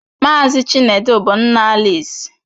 Mazị Chinedu bụ nna Alisi.